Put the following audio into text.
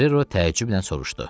Ferrero təəccüblə soruşdu.